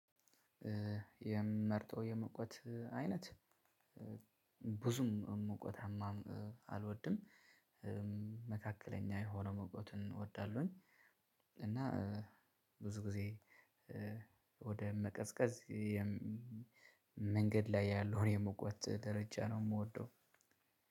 የምመርጠው የሙቀት አይነት። ብዙም ሙቀታማ አልወድም። መካከለኛ የሆነ ሙቀት እወዳለሁ። እና ብዙ ጊዜ ወደ መቀዝቀዝ መንገድ ላይ ያለውን የሙቀት ደረጃ ነው። የምወደው